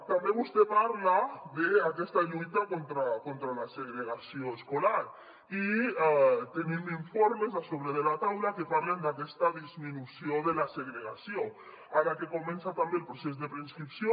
també vostè parla d’aquesta lluita contra la segregació escolar i tenim informes a sobre de la taula que parlen d’aquesta disminució de la segregació ara que comença també el procés de preinscripció